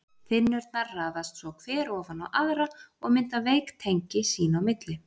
Þynnurnar raðast svo hver ofan á aðra og mynda veik tengi sín á milli.